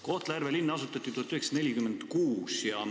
Kohtla-Järve linn asutati 1946.